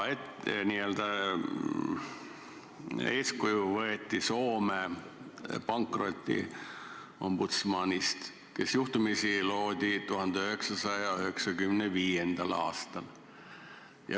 Eeskuju võeti Soome pankrotiombudsmanist, kes juhtumisi loodi 1995. aastal.